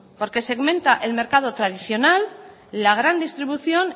porque segmenta el mercado tradicional la gran distribución